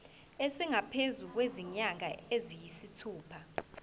esingaphezu kwezinyanga eziyisithupha